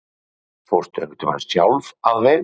Karen: Fórstu einhvern tímann sjálf að veiða?